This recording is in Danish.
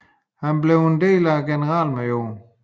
Han blev en del af generalmajor George B